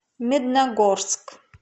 медногорск